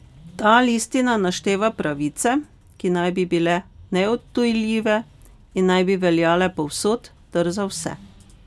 Ta listina našteva pravice, ki naj bi bile neodtujljive in naj bi veljale povsod ter za vse.